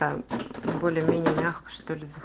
там более-менее мягко что ли зав